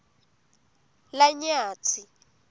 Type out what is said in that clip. lanyatsi